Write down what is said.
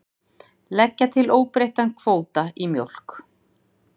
Leggja til óbreyttan kvóta í mjólk